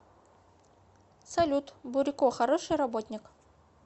салют бурико хороший работник